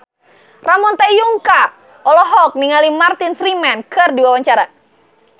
Ramon T. Yungka olohok ningali Martin Freeman keur diwawancara